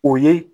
O ye